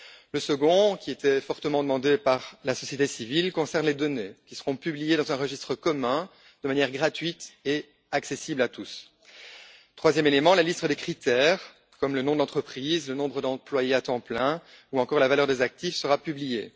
Le second élément, qui était fortement demandé par la société civile, concerne les données elles seront publiées dans un registre commun accessible gratuitement à tous. Le troisième élément, c'est la liste des critères, comme le nom de l'entreprise, le nombre d'employés à temps plein ou encore la valeur des actifs, qui sera publiée.